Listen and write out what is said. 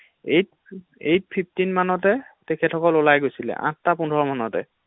eight fifteen মানতে তেখেতসকল ওলাই গৈছিলে্ আঠটা্ পোন্ধৰ মানতে